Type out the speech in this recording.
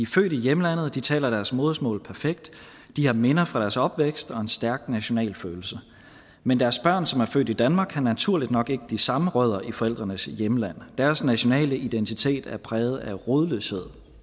født i hjemlandet og de taler deres modersmål perfekt de har minder fra deres opvækst og en stærk nationalfølelse men deres børn som er født i danmark har naturligt nok ikke de samme rødder i forældrenes hjemlande deres nationale identitet er præget af rodløshed